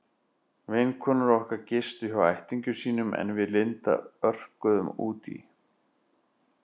Vinkonur okkar gistu hjá ættingjum sínum en við Linda örkuðum út í